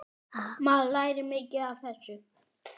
Maður lærir mikið af þessu.